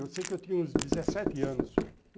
Eu sei que eu tinha uns dezessete anos.